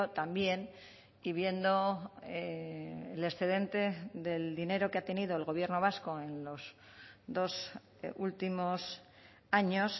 también y viendo el excedente del dinero que ha tenido el gobierno vasco en los dos últimos años